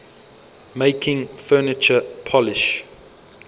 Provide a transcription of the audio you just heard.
making furniture polish